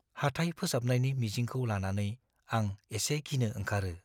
हाथाइ फोसाबनायनि मिजिंखौ लानानै आं एसे गिनो ओंखारो।